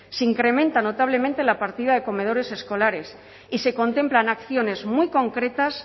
se incrementa notablemente la partida de comedores escolares y se contemplan acciones muy concretas